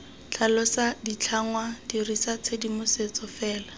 tlhalosa ditlhangwa dirisa tshedimosetso fela